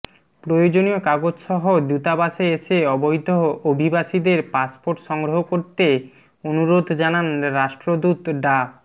প্রয়োজনীয় কাগজসহ দূতাবাসে এসে অবৈধ অভিবাসীদের পাসপোর্ট সংগ্রহ করতে অনুরোধ জানান রাষ্ট্রদূত ডা